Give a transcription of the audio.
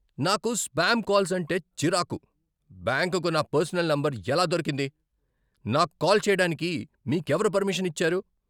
నాకు spam calls అంటే చిరాకు. బ్యాంకుకు నా పర్సనల్ నంబర్ ఎలా దొరికింది, నాకు కాల్ చేయడానికి మీకెవరు పర్మిషన్ ఇచ్చారు?